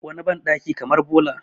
wani bandaki kamar bola